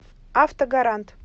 автогарант